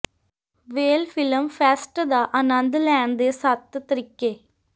ਵੇਲ film fest ਦਾ ਆਨੰਦ ਲੈਣ ਦੇ ਸੱਤ ਤਰੀਕੇ